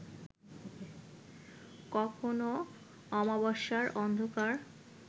কখনো অমাবস্যার অন্ধকার